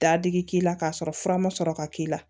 Dadigi k'i la k'a sɔrɔ fura ma sɔrɔ ka k'i la